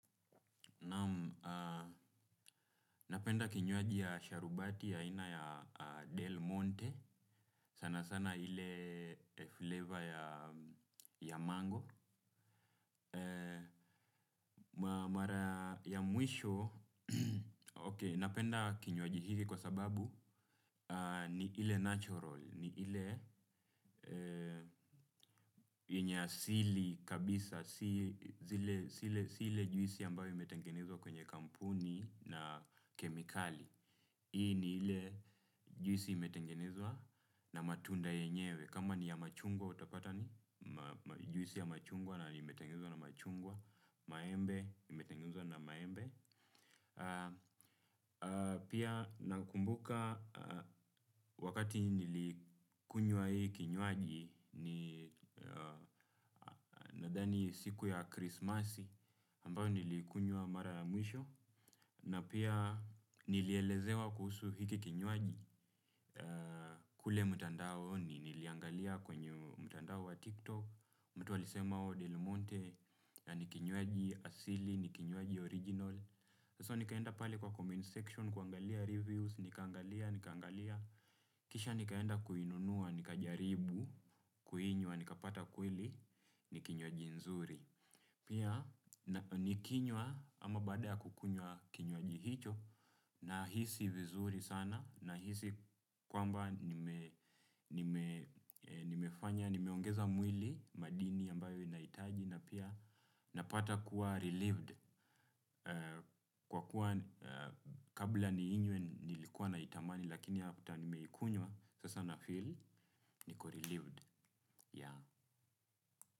Naam, napenda kinywaji ya sharubati ya aina ya Del Monte. Sana sana ile flavor ya mango. Mara ya mwisho, ok. Napenda kinywaji hiki kwa sababu ni ile natural. Ni ile yenye asili kabisa. Si ile juisi ambayo imetengenezwa kwenye kampuni na kemikali. Hii ni ile juisi imetengenezwa na matunda yenyewe. Kama ni ya machungwa utapata ni juisi ya machungwa na imetengenezwa na machungwa. Maembe, imetengenezwa na maembe. Pia nakumbuka wakati nilikunywa hii kinywaji, nadhani siku ya krismasi ambayo niliikunywa mara ya mwisho. Na pia nilielezewa kuhusu hiki kinywaji. Kule mtandaoni, niliangalia kwenye mtandao wa tiktok, mtu alisema delimonte ni kinywaji asili, ni kiywaji original, So nikaenda pale kwa comment section, kuangalia reviews, nikaangalia, nikaangalia, kisha nikaenda kuinunua, nikajaribu, kuinywa, nikapata kweli, ni kinywaji nzuri. Pia nikinywa ama bada kukunywa kinywaji hicho, nahisi vizuri sana nahisi kwamba, nimefanya, nimeongeza mwili, madini ambayo inahitaji na pia napata kuwa relieved kwa kuwa, kabla niinywe nilikuwa naitamani lakini after nimeikunywa sasa na feel niko relieved. Yeah.